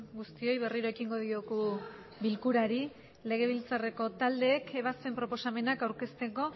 guztioi berriro ekingo diogu bilkurari legebiltzareko taldek ebasten proposamenak aurkesteko